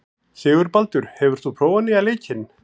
Sigurbaldur, hefur þú prófað nýja leikinn?